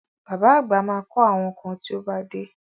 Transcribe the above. Bàbá àgbà ma kọ́ àwọn kan tí ó bá dé